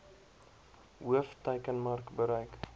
hoof teikenmark bereik